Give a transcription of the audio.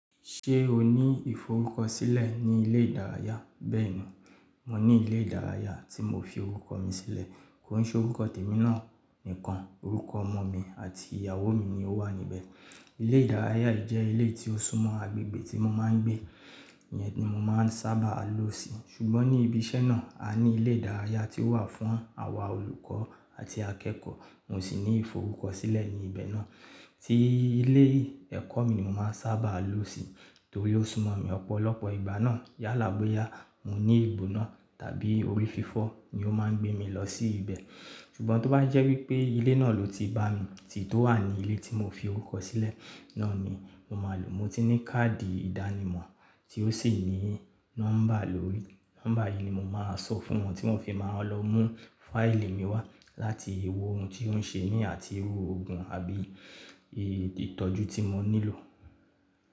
Ṣé o ní ìforúkọsílẹ̀ ní ilé ìdárayá? Mo ní ilé ìdárayá tí mo fi orúkọ mi sílẹ̀, kò ní ṣe orúkọ tèmi náà nìkan, orúkọ ọmọ mi àti ìyàwó mi ni ó wà níbẹ̀. Ilé ìdárayá yì jẹ ilé tí ó súmọ́ agbègbè tí mo máa ń gbé, ìyẹn ni mo máa ń sábà lò sí, ṣùgbọ́n ní ibi iṣẹ́ náà, a ní ilé ìdárayá tí ó wà fún àwa olùkọ́ àti akẹ́kọ̀ọ́, mo sì ní ìforúkọsílẹ̀ ní ibẹ̀ náà tí ilé ẹ̀kọ́ mi ni mo máa ń sábà lò sí torí ó súmọ̀ mi. Ọ̀pọ̀lọpọ̀ ìgbà náà, yálàgbéyà, mò ní ìbò náà tàbí orí fífọ́ ni ó máa ń gbé mi lọ sí ibẹ̀. Ṣùgbọ́n tó bá jẹ́ wípé ilé náà ló ti bá mi tì tó wà ní ilé tí mo fi orúkọ sílẹ̀ náà ni mo máa lò. Mo ti ní káàdì ìdánimọ̀ tí ó sì ní nọ́mbà lórí, nọ́mbà yìí ni mo máa sọ fún wọn tí wọn fi máa lọ mú fáìlì mi wá láti ewu ohun tí wọ́n ṣe mí àti ewu òògùn àbí ìtọ́jú tí mo nílò.